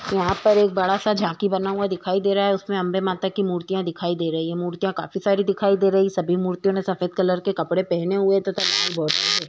यहाँ पर एक बड़ा सा झांकी बना हुआ दिखाई दे रहा है उसमे अंबे माता की मुर्तियां दिखाई दे रही हैं। मुर्तियां काफी सारी दिखाई दे रही हैं सभी मूर्तियों ने सफ़ेद कलर के कपड़े पहने हुए हैं तथा लाल बॉर्डर है।